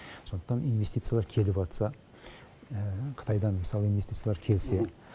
сондықтан инвестициялар келіватса қытайдан мысалы инвестициялар келсе